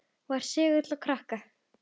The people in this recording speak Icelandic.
Var segull á krakka.